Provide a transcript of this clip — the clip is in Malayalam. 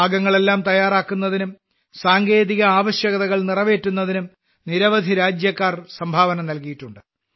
ഭാഗങ്ങളെല്ലാം തയ്യാറാക്കുന്നതിനും സാങ്കേതിക ആവശ്യകതകൾ നിറവേറ്റുന്നതിനും നിരവധി രാജ്യക്കാർ സംഭാവന നൽകിയിട്ടുണ്ട്